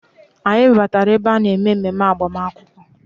Anyị batara ebe a na-eme mmemme agbamakwụkwọ